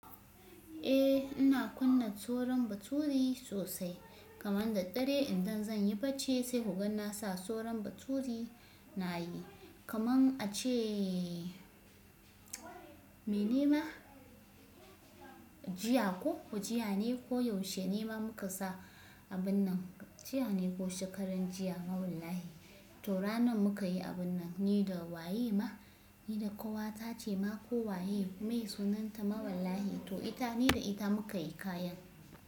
Eh ina kunna soron baturi sosai kaman da dare idan zan yi bacci sai ka gan nasa soron baturi na yi kaman a ce mi nema jiya ko jiya ne ko yaushe nema muka sa abun nan jiya ne ko shekaran jiya mawallahi to ranan muka yi abun nan ni da waye ma ni da ƙawata ce ma ko waye mweye sunanta mawallahi to ita ni da ita muka yi kayan.